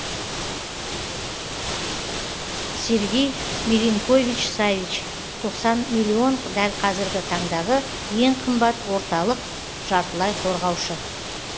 сергей милинкович савич тоқсан миллион дәл қазіргі таңдағы ең қымбат орталық жартылай қорғаушы